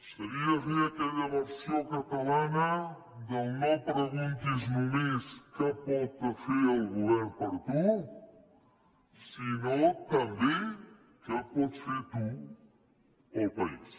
seria fer aquella versió catalana del no preguntis només què pot fer el govern per tu sinó també què pots fer tu per al país